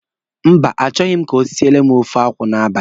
Mba, achọghị m ka o siele m ofe akwụ n'abalị.